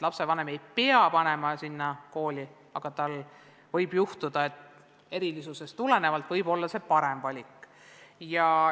Lapsevanem ei pea panema last sellisesse kooli, aga võib juhtuda, et lapse erilisusest tulenevalt võib see olla parem valik.